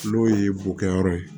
N'o ye bokɛyɔrɔ ye